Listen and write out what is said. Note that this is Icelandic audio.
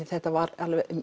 þetta var